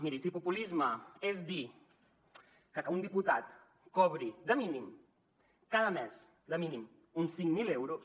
miri si populisme és dir que un diputat cobri de mínim cada mes de mínim uns cinc mil euros